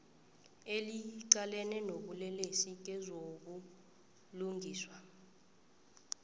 eliqalene nobulelesi kezobulungiswa